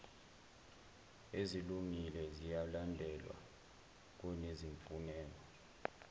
ezilungile ziyalandelwa kunezimfuneko